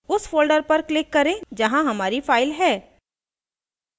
उस folder पर click करें जहाँ हमारी file है